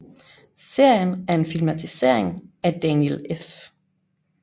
Serien er en filmatisering af Daniel F